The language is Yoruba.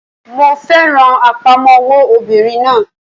Mo fẹ́ràn àpamọ́wọ́ obìnrin náà